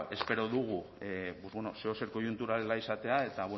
espero dugu zeozer koiuntural ez izatea eta